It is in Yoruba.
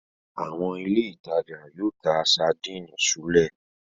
Àwọn ilé-ìtajà yóò ta sadínì súlẹ̀.